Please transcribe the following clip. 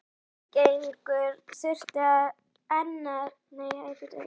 Þingeyingur þurfti enn að taka á honum stóra sínum.